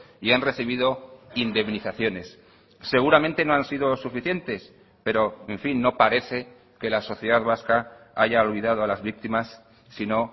y han recibido indemnizaciones seguramente no han sido suficientes pero en fin no parece que la sociedad vasca haya olvidado a las víctimas sino